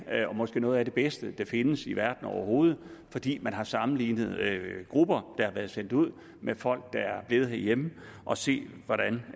og måske noget af det bedste der findes i verden overhovedet fordi man har sammenlignet grupper der har været sendt ud med folk der er blevet herhjemme og set